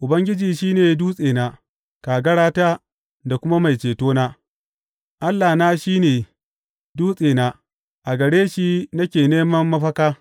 Ubangiji shi ne dutsena, kagarata da kuma mai cetona; Allahna shi ne dutsena, a gare shi nake neman mafaka.